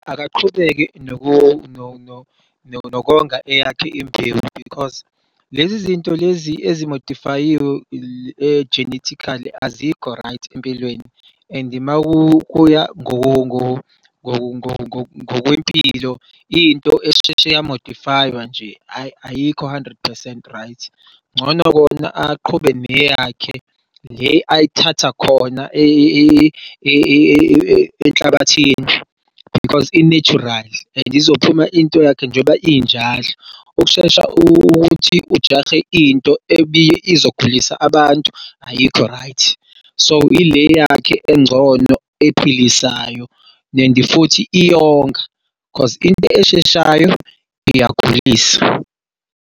Akaqhubeke nokonga eyakhe imbewu because lezi zinto lezi ezimodifayiwe e-genetically azikho-right empilweni and umakuya ngokwempilo into esheshe yamodifayiwar nje ayi ayikho hundred percent right ngcono kona aqhubeke neyakhe le ayithatha khona enhlabathini because i-natural and izophuma intoyakhe njengoba injalo ukushesha ukuthi ujahe into ebizogulisa abantu ayikho-right, so ile yakhe engcono ephilisayo and futhi iyonga cause into esheshayo iyagulisa.